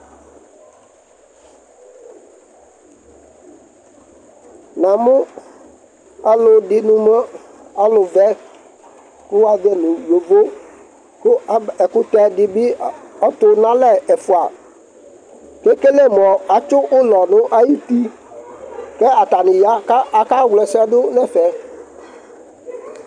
Namʋ alʋɛdini mʋ alʋvɛ kʋ wa zɔ yi nʋ yovo, kʋ ab, ɛkʋtɛ di bi ɔtʋ n'alɛ ɛfua kekele mʋ atsi ʋlɔ dʋ nʋ ayuti ka atani ya ka akawla ɛsɛ dʋ n'ɛfɛ